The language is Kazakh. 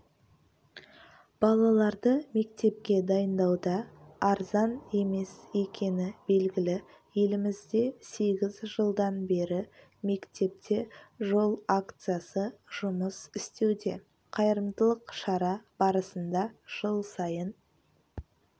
балаларды мектепке дайындауда арзан емес екені белгілі елімізде сегіз жылдан бері мектепке жол акциясы жұмыс істеуде қайырымдылық шара барысында жыл сайын